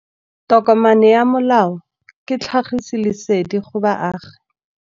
Tokomane ya molao ke tlhagisi lesedi go baagi.